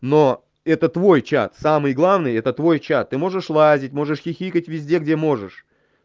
но это твой чат самый главный это твой чат ты можешь лазить можешь хихикать везде где можешь